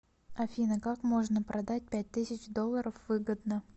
афина как можно продать пять тысяч долларов выгодно